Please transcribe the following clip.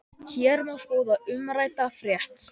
Hér má skoða umrædda frétt.